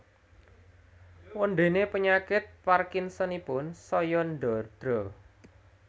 Wondéné penyakit Parkinsonipun saya ndadra